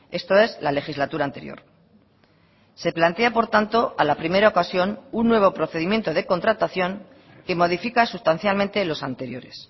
esto es la legislatura anterior se plantea por tanto a la primera ocasión un nuevo procedimiento de contratación que modifica sustancialmente los anteriores